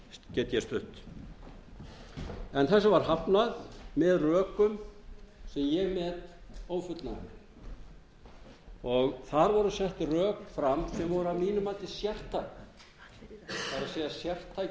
get ég stutt en þessu var hafnað með rökum sem ég met ófullnægjandi þar voru sett rök fram sem voru að mínu mati sérstæð það er sértækir